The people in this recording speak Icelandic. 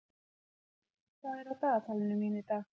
Vörður, hvað er á dagatalinu mínu í dag?